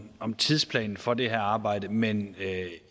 om tidsplanen for det her arbejde men